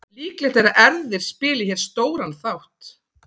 Líklegt er að erfðir spili hér stóran þátt.